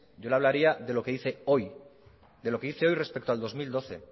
yo le hablaría de lo que hice hoy de lo que hice hoy respecto al dos mil doce